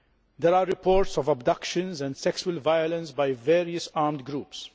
There are reports of abductions and sexual violence by various armed groups.